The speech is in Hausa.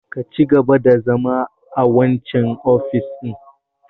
Ka cigaba da zama a wancan ofishin!